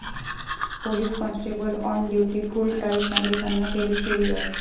police constable on duty full tight, नागरिकांना केली शिवीगाळ